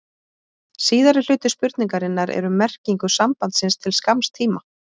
Síðari hluti spurningarinnar er um merkingu sambandsins til skamms tíma.